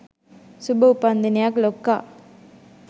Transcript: සුභ උපන්දිනයක් ලොක්කා